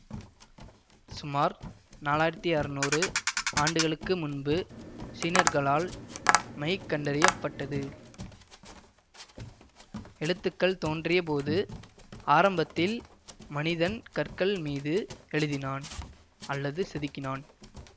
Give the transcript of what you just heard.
சுமார் நாலாயிரத்தி அறநூறு ஆண்டுகளுக்கு முன்பு சீனர்களால் மை கண்டறிய பட்டது எழுத்துக்கள் தோன்றிய போது ஆரம்பத்தில் மனிதன் கற்கள் மீது எழுதினான் அல்லது செதுக்கினான்